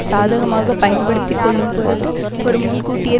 சாதகமாக பயன்படுத்தி கொள்ளும் பொருட்டு ஒரு முன்கூட்டிய